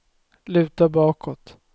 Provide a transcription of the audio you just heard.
luta bakåt